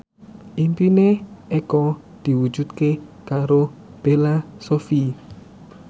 impine Eko diwujudke karo Bella Shofie